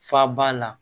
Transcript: Fa ba la